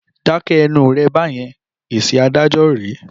Dákẹ́ ẹnu rẹ̀ báyẹn! Èsì adájọ́ rèé.